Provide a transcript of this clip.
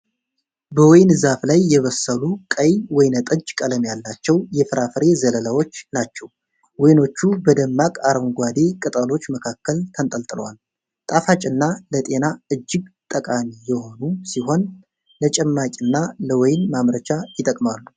በወይን ዛፍ ላይ የበሰሉ፣ ቀይ ወይን ጠጅ ቀለም ያላቸው የፍራፍሬ ዘለላዎች ናቸው። ወይኖቹ በደማቅ አረንጓዴ ቅጠሎች መካከል ተንጠልጥለዋል። ጣፋጭና ለጤና እጅግ ጠቃሚ የሆኑ ሲሆን ለጭማቂና ለወይን ማምረቻ ይጠቅማሉ።